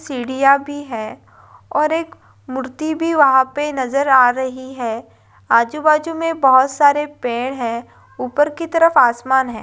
सीढ़ियां भी है और एक मूर्ति भी वहां पर नजर आ रही है आजू-बाजू में बहुत सारे पेड़ हैं ऊपर की तरफ आसमान है।